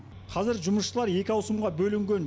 қазір жұмысшылар екі ауысымға бөлінген